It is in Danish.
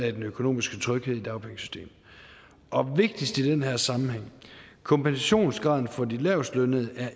af den økonomiske tryghed i dagpengesystemet og vigtigst i den her sammenhæng at kompensationsgraden for de lavestlønnede